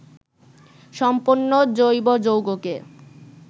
সম্পন্ন জৈব যৌগকে